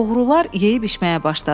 Oğrular yeyib içməyə başladılar.